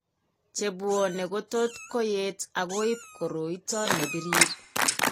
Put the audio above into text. Chebwane kotot koyeet akoib koroito nebirir